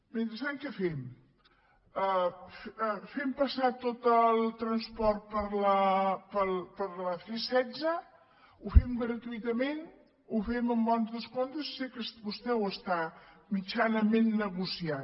mentrestant què fem fem passar tot el transport per la c setze ho fem gratuïtament ho fem amb bons descomptes sé que vostè ho està mitjanament negociant